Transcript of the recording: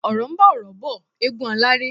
Ọ̀RỌ̀ ń bá ọ̀rọ̀ bọ̀, égún aláré.